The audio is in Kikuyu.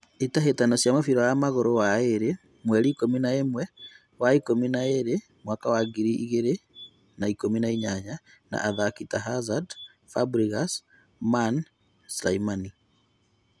ĩtahĩtano cĩa mũbira wa magũru waĩrĩ mweri ikũmi na ĩmwe wa ikũmi na ĩrĩ mwaka wa ngiri igĩrĩ na ikũmi na inyanya : na athaki ta Harzard , fabregas, man , slimani